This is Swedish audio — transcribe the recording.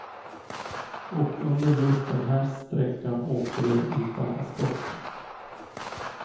Och under just den här sträckan åkte de utan eskort.